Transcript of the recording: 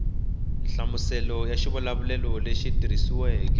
nhlamuselo ya xivulavulelo lexi tikisiweke